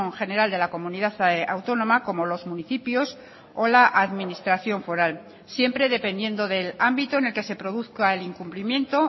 general de la comunidad autónoma como los municipios o la administración foral siempre dependiendo del ámbito en el que se produzca el incumplimiento